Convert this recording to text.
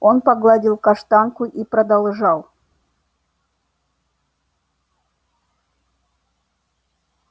он погладил каштанку и продолжал